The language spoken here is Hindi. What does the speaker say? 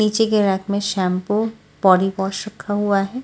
निचे के रैक में शैम्पू बॉडीवॉश रखा हुआ है ।